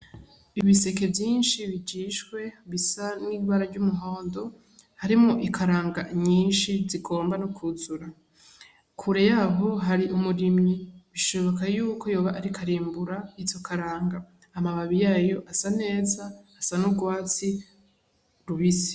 Ibiseke vyinshi bijishwe bisa n'ibara ry'umuhondo, harimwo ikaranga nyinshi zigomna no kwuzura. Kure y'aho yari umurimyi, bishoboka yuko ashobora kuba riko arimbura izo karanga. Amababi yayo asa neza, asa n'urwatsi rubisi.